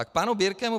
A k panu Birkemu.